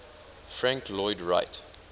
frank lloyd wright